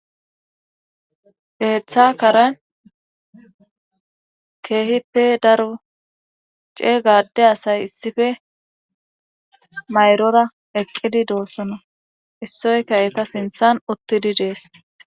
Keeththa karen keehippe daro ceega adde asay issippe mayrora eqqidi doosona issoyka eetta sinthan uttidii dees